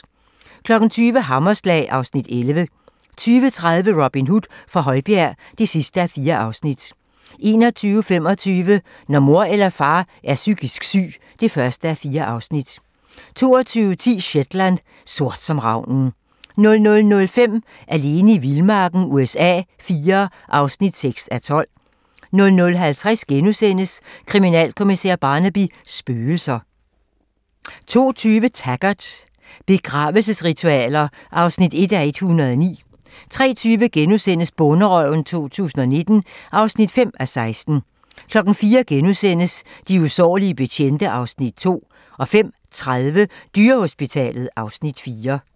20:00: Hammerslag (Afs. 11) 20:30: Robin Hood fra Højbjerg (4:4) 21:25: Når mor eller far er psykisk syg (1:4) 22:10: Shetland: Sort som ravnen 00:05: Alene i vildmarken USA IV (6:12) 00:50: Kriminalkommissær Barnaby: Spøgelser * 02:20: Taggart: Begravelsesritualer (1:109) 03:20: Bonderøven 2019 (5:16)* 04:00: De usårlige betjente (Afs. 2)* 05:30: Dyrehospitalet (Afs. 4)